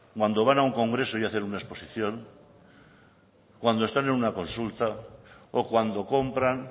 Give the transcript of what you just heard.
cuando van a un congreso y hacen una exposición cuando están en una consulta o cuando compran